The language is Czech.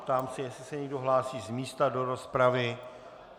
Ptám se, jestli se někdo hlásí z místa do rozpravy.